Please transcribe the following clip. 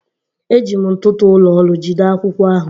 Eji m ntụtụ ụlọ ọrụ jide akwụkwọ ahụ